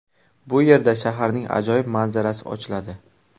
Bu yerdan shaharning ajoyib manzarasi ochiladi.